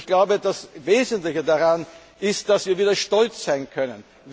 folgen. Ich glaube, das Wesentliche daran ist, dass wir wieder stolz sein